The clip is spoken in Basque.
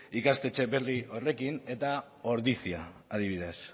ikastetxe berri horrekin eta ordizia adibidez